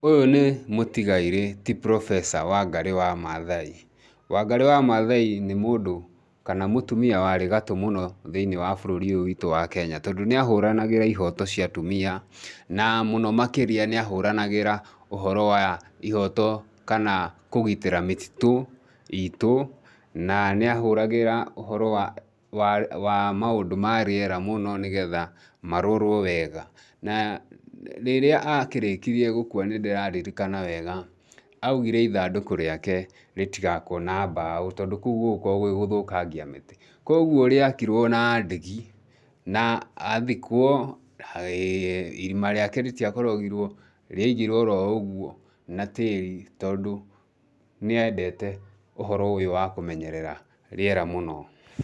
Ũyũ nĩ mũtigairĩ ti professor Wangarĩ wa Maathai. Wangarĩ wa Maathai nĩ mũndũ kana mũtumia warĩ gatũ mũno thĩinĩ wa bũrũri ũyũ witũ wa Kenya tondũ nĩ ahũranagĩra ihooto cia atumia na mũno makĩria nĩ ahũranagĩra ũhoro wa ihooto kana kũgitĩra mĩtitũ iitũ, na nĩ aahũragĩra ũhoro wa maũndũ ma rĩera mũno nĩ getha marorwo wega. Na rĩrĩa akĩrĩkirie gũkua nĩndĩraririkana wega augire ithandũkũ rĩake rĩtigaakwo na mbaũ tondũ kũu gũgũkorũo gwĩ gũthũkangia mĩtĩ. Kwoguo rĩakirwo na ndigi, na aathikwo, irima rĩake rĩtĩakorogirwo, rĩaigirwo oroũgwo na tĩĩri tondũ nĩ endete ũhoro ũyũ wa kũmenyerera rĩera mũno.